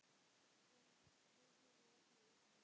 Ruth fyrir öllu illu.